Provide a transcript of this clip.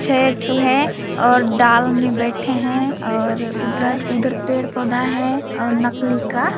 छः ठो है और डाल में बैठे है और उधर उधर पेड़ पौधा है और नकली का--